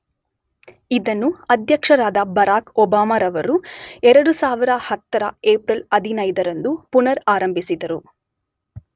ಇದನ್ನು ಅಧ್ಯಕ್ಷರಾದ Barack Obama ರವರು 2010 ರ ಏಪ್ರಿಲ್ 15 ರಂದು ಪುನರ್ ಆರಂಭಿಸಿದರು.